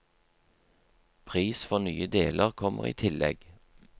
Pris for nye deler kommer i tillegg.